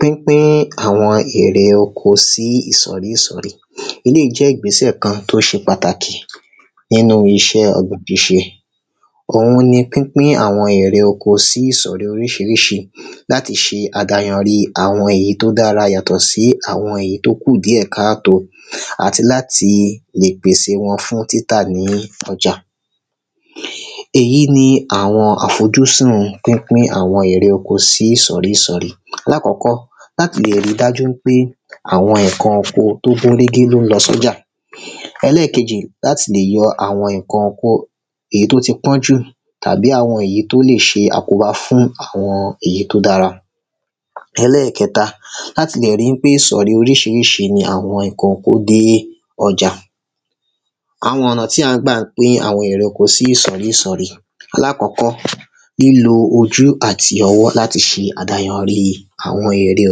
pínpín àwọn erè oko sí ìsọ̀rí ìsọ̀rí, eléyìí jẹ́ ìgbésẹ̀ kan tó se pàtàkì nínu isẹ́ ọ̀gbìn síse, òun ni pínpín àwọn erè oko sí ìsọ̀rí orísirísi, láti se àdáyanri àwọn èyí tí ó dára yàtọ̀ sí àwọn èyí tó kù díẹ̀ káà tó, àti láti le pèse wọn fún títà ní ọjà, èyí ni àwọn àfojúsun pínpín àwọn erè oko sí ìsọ̀rí ìsọ̀rí, láàkọ́kọ́, láti lè ri dájú wípé àwọn ǹkan oko tó gún régé ló ń lọ sọ́jà, ẹlẹ́ẹ̀kejì, láti lè yo àwọn ǹkan oko, èyí tó ti pọ́n jù, tàbí àwọn èyí tó lè se àkóbá fún àwọn èyí tó dára, elẹ́ẹ̀kẹta, láti lè ri pé ìsọ̀rí oríṣiríṣi ni àwọn ǹkan oko tó dé ọjà, àwọn ọ̀nà tí à ń gbà pín àwọn erè oko sí ìsọ̀rí ìsọ̀rí, aláàkọ́kọ́, lílọ ojú àti ọwọ́ láti se àdáyanrí àwọn erè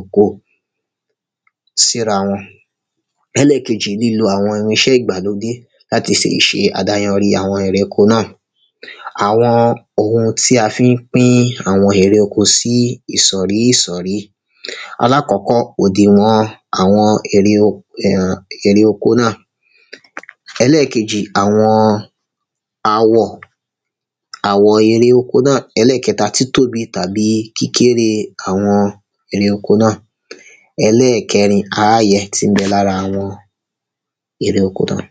oko sí ra wọn, ẹlẹ́ẹ̀kejì, lílo àwọn oun isẹ́ ìgbàlódé láti lè se àdáyanrí àwọn erè oko náà, àwọn oun tí a fi ń pín àwọn erè oko si ìsọ̀rí ìsọ̀rí, alákọ̀ọ́kọ́, òdìwọn àwọn erè um erè oko náà, ẹlẹ́ẹ̀kẹjì, àwọn àwọ̀, àwọ erè oko náà, elẹẹkẹta, títóbi tàbí kíkéré àwọn erè oko náà, ẹlẹ́ẹ̀kẹrin, á ye n ti ń bẹ lára àwọn erè oko náà.